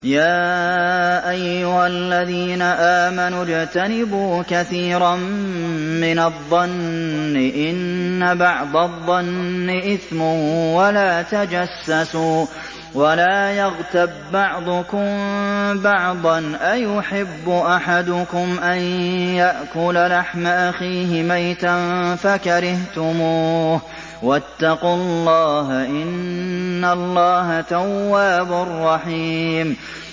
يَا أَيُّهَا الَّذِينَ آمَنُوا اجْتَنِبُوا كَثِيرًا مِّنَ الظَّنِّ إِنَّ بَعْضَ الظَّنِّ إِثْمٌ ۖ وَلَا تَجَسَّسُوا وَلَا يَغْتَب بَّعْضُكُم بَعْضًا ۚ أَيُحِبُّ أَحَدُكُمْ أَن يَأْكُلَ لَحْمَ أَخِيهِ مَيْتًا فَكَرِهْتُمُوهُ ۚ وَاتَّقُوا اللَّهَ ۚ إِنَّ اللَّهَ تَوَّابٌ رَّحِيمٌ